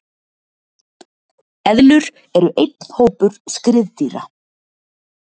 Eðlur eru einn hópur skriðdýra.